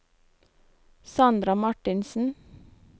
Sandra Marthinsen